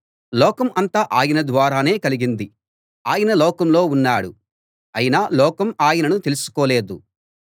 లోకం అంతా ఆయన ద్వారానే కలిగింది ఆయన లోకంలో ఉన్నాడు అయినా లోకం ఆయనను తెలుసుకోలేదు